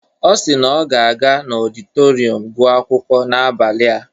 Ọ si na ọ ga-aga n'ọditorịum gụọ akwụkwọ n'abalị a.